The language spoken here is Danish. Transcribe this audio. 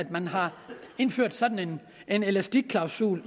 man har indført sådan en elastikklausul